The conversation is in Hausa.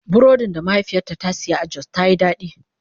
Burodin da mahaifiyata ta saya a Jos ta Yi daɗi.